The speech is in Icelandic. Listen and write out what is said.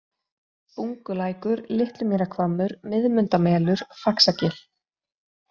Bungulækur, Litlumýrahvammur, Miðmundamelur, Faxagil